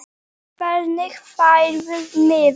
Hvernig færðu miða?